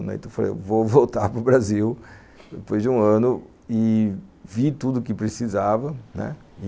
Então eu falei, vou voltar para o Brasil depois de um ano e vi tudo o que precisava, né,